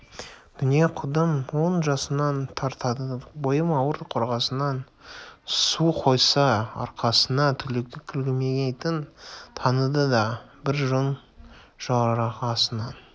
дүние қудым он жасымнан тартады бойым ауыр қорғасыннан су қойса арқасына төгілмейтін танады да бір күн жорғасынан